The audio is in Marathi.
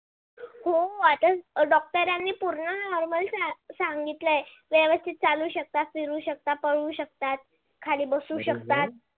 हो आता doctor नी पूर्ण normal सांगितलाय व्यवस्थित चालू शकता फिरू शकता पळू शकता खाली बसू शकतात. अरे हो